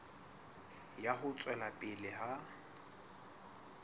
ya ho tswela pele ha